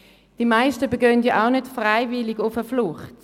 Die meisten begeben sich auch nicht freiwillig auf die Flucht.